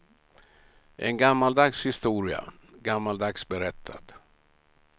En gammaldags historia, gammaldags berättad.